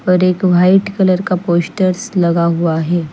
और एक white colour का पोस्टर लगा हुआ है।